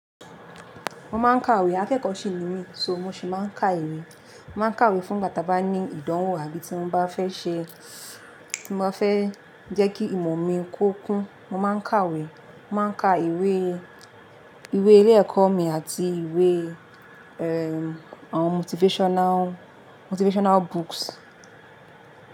Mo máa ń kàwé. Akẹ́kọ̀ọ́ ṣì ní mi sọ, mo sì máa ń kà ìwé. Mo máa ń kàwé fún ìgbà ta bá ní ìdánwò àbí tí mo bá fẹ́ ṣe tí mo fẹ́ jẹ́ kí ìmọ̀ mi ko kún, mo máa ń kàwé. Mo máa ń ka ìwé, ìwé ilé-ẹ̀kọ́ mi àti ìwé, é, àwọn motivational, motivational books.